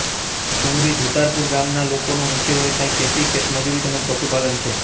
સુમરી ધુતારપર ગામના લોકોનો મુખ્ય વ્યવસાય ખેતી ખેતમજૂરી તેમ જ પશુપાલન છે